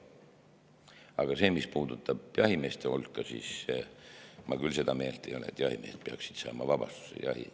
Aga mis puudutab jahimehi, siis ma küll seda meelt ei ole, et jahimehed peaksid saama vabastuse.